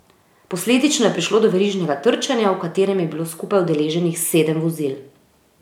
Posledično je prišlo do verižnega trčenja, v katerem je bilo skupaj udeleženih sedem vozil.